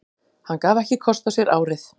Hann gaf ekki kost á sér árið